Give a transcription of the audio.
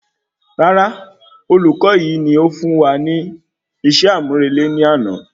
Rárá, olùkọ yìí ní ó fún wa ní iṣẹ́ amurele ní àna